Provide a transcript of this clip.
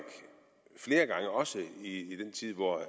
flere gange også i den tid hvor